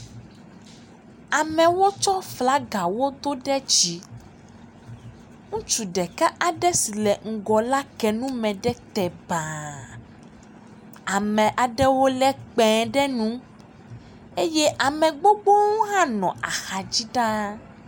Amewo tsɔ flagawo do de dzi. Ŋutsu ɖeka aɖe si le ŋgɔ la ke nume ɖe te baaaaaa. Ame aɖewo le kpẽ ɖe nu eye ame gbogbo aɖewo hã nɔ axa dzi ɖa.